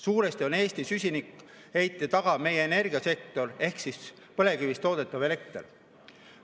Suuresti on Eesti süsinikuheite taga meie energiasektor ehk siis põlevkivist toodetav elekter.